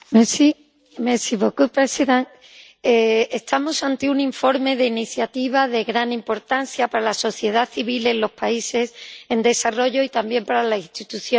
Señora presidenta, estamos ante un informe de iniciativa de gran importancia para la sociedad civil en los países en desarrollo y también para las instituciones europeas.